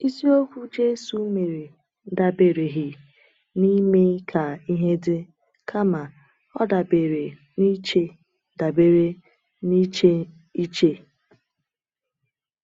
Isi okwu Jésù mere dabereghị n’ime ka ihe dị, kama ọ dabere n’iche dabere n’iche iche.